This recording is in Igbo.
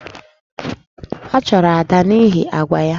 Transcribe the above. A chụrụ Ada n’ihi àgwà ya